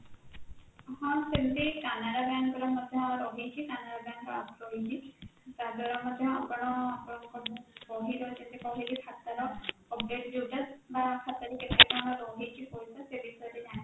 ହା ସେମିତି canara bank ରେ ମଧ୍ୟ ରହିଛି canara bank ର app ରହିଛି ତାଦ୍ୱାରା ମଧ୍ୟ ଆପଣ ଆପଣଙ୍କ ବହିର ଯେମିତି କହିଲି ଖାତା ର update ଯୋଉଟା bank ଖାତାରେ ରହିଛି ସେଇ ଜିନିଷଟି ଜାଣିପାରିବେ